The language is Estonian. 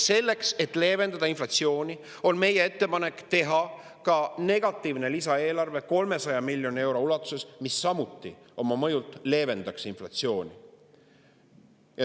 Selleks et leevendada inflatsiooni, on meie ettepanek teha ka negatiivne lisaeelarve 300 miljoni euro ulatuses, mille mõju samuti leevendaks inflatsiooni.